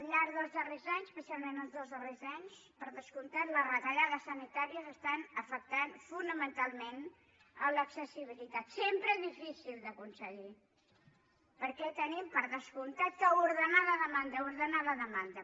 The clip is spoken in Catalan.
al llarg dels darrers anys especialment els dos darrers anys per descomptat les retallades sanitàries estan afectant fonamentalment l’accessibilitat sempre difícil d’aconseguir perquè hem per descomptat d’ordenar la demanda d’ordenar la demanda